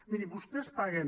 miri vostès paguen